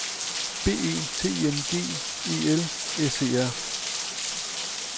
B E T I N G E L S E R